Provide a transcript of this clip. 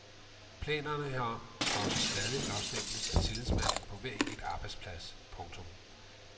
Planerne herom skal også stadig blåstemples af tillidsmanden på hver enkelt arbejdsplads. punktum